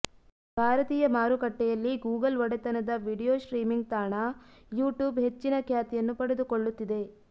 ಭಾರತೀಯ ಮಾರುಕಟ್ಟೆಯಲ್ಲಿ ಗೂಗಲ್ ಒಡೆತನದ ವಿಡಿಯೋ ಸ್ಟ್ರೀಮಿಂಗ್ ತಾಣ ಯೂಟ್ಯೂಬ್ ಹೆಚ್ಚಿನ ಖ್ಯಾತಿಯನ್ನು ಪಡೆದುಕೊಳ್ಳುತ್ತಿದೆ